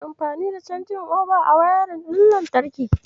Ana amfani da canji'oba a wayarin ɗin lantarki.